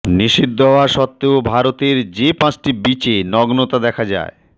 নিষিদ্ধ হওয়া সত্ত্বেও ভারতের যে পাঁচটি বিচে নগ্নতা দেখা যায়